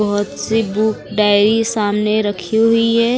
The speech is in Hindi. बहुत सी बुक डायरी सामने रखी हुई है।